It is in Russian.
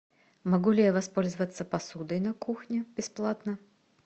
могу ли я воспользоваться посудой на кухне бесплатно